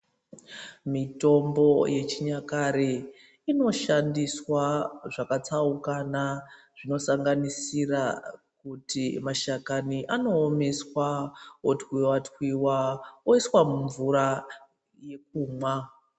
Mitombo yechinyakare inoshandiswa zvakatsaukana zvinosanganisa kuti mashakani anoomeswa otwiwatwiwa oiswa mumvura yekumwa.